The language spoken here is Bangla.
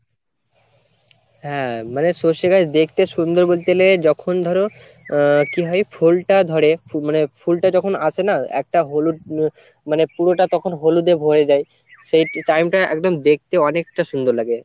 হ্যাঁ মানে সর্ষে গাছ দেখতে সুন্দর বলতে গেলে যখন ধরো আহ কি হয় ফুলটা ধরে মানে ফুলটা যখন আসে না? একটা হলুদ মানে পুরোটা তখন হলুদে ভোরে যায় সেই time টা একদম দেখতে অনেকটা সুন্দর লাগে।